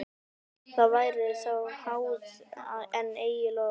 Það væri þá háð, en eigi lof.